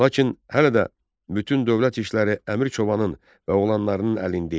Lakin hələ də bütün dövlət işləri Əmir Çobanın və oğlanlarının əlində idi.